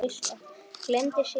Gleymdi sér í vörn.